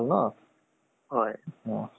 উম। তাকে বতৰ টো আজি ইমান বেয়া কৰিছে ন?